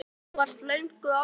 Elín: Þú varst löngu ákveðin?